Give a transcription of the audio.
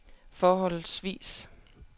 forholdsvis